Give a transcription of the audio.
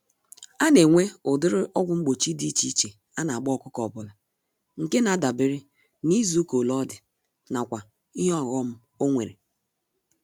Anenwe ụdịrị ọgwụ mgbochi dị iche iche anagba ọkụkọ ọbula, nke nadabere n'izuka ole ọdị, nakwa ìhè ọghom onwere.